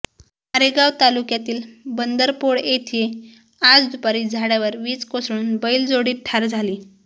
मारेगाव तालुक्यातील बंदरपोड येथे आज दुपारी झाडावर वीज कोसळून बैलजोडी ठार झाली